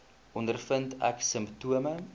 ondervind ek simptome